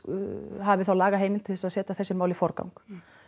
hafi þá lagaheimild til þess að setja þessi mál í forgang